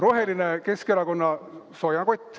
Roheline Keskerakonna soojakott.